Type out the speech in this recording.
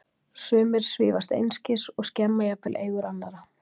Sumir svífast einskis og skemma jafnvel eigur annarra.